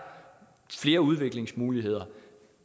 flere udviklingsmuligheder